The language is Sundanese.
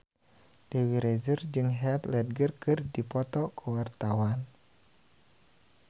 Dewi Rezer jeung Heath Ledger keur dipoto ku wartawan